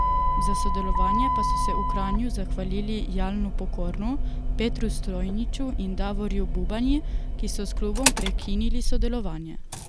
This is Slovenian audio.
Za sodelovanje pa so se v Kranju zahvalili Jalnu Pokornu, Petru Stojniču in Davorju Bubanji, ki so s klubom prekinili sodelovanje.